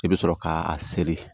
I bɛ sɔrɔ ka a seri